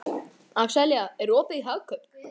Axelía, er opið í Hagkaup?